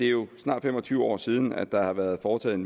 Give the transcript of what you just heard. jo snart fem og tyve år siden der har været foretaget